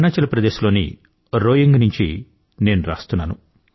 అరుణాచల్ ప్రదేశ్ లోని రోయింగ్ నుంచి నేను రాస్తున్నాను